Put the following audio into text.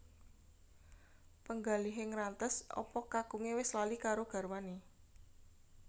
Penggalihe ngrantes apa kakunge wis lali karo garwane